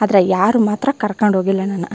ಆದ್ರೆ ಯಾರ್ ಮಾತ್ರ ಕರಕೊಂಡ್ ಹೋಗಿಲ್ಲಾ ನನ್ನ.